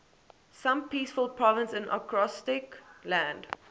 some peaceful province in acrostic land